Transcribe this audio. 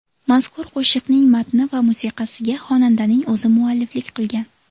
Mazkur qo‘shiqning matni va musiqasiga xonandaning o‘zi mualliflik qilgan.